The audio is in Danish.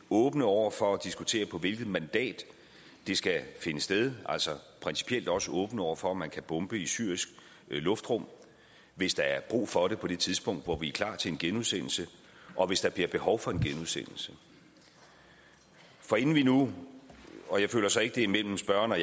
åbne over for at diskutere på hvilket mandat det skal finde sted altså principielt også åbne over for om man kan bombe i syrisk luftrum hvis der er brug for det på det tidspunkt hvor vi er klar til en genudsendelse og hvis der bliver behov for en genudsendelse forinden vi nu og jeg føler så ikke det er mellem spørgeren og